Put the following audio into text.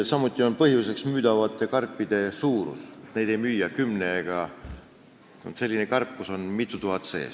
Samuti on põhjuseks müügil olevate karpide suurus: sütikuid ei müüda kümnekaupa, karp on selline, kus on mitu tuhat sütikut sees.